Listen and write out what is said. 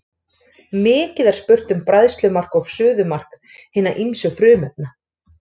Mikið er spurt um bræðslumark og suðumark hinna ýmsu frumefna.